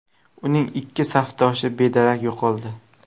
Uning ikki safdoshi bedarak yo‘qoldi.